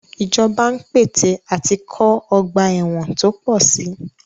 Ìjọba ń pète àti kọ́ ọ̀gba ẹ̀wọn tó pọ̀ sí i.